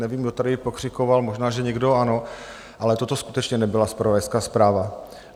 Nevím, kdo tady pokřikoval, možná že někdo ano, ale toto skutečně nebyla zpravodajská zpráva.